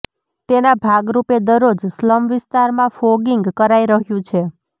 તેના ભાગરૂપે દરરોજ સ્લમ વિસ્તારમાં ફોંગીંગ કરાઈ રહ્યું છે